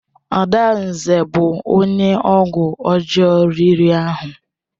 Adanze bụ onye ọgwụ ọjọọ riri ahụ.